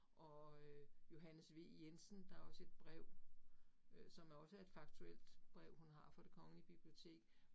Og øh Johannes V Jensen, der også et brev, øh som også er et faktuelt brev, hun har fra det Kongelige Bibliotek